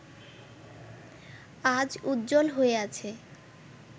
আজ উজ্জ্বল হয়ে আছে